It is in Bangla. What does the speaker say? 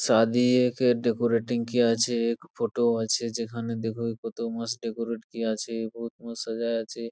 সাধী ডেকোরেটিং কিয়া আছে | ফটো আছে যেখানে দেখো কি মতো মস্ত ডেকোরেট কিয়া আছে | বহুত মস্ত সাজাইয়া আছে।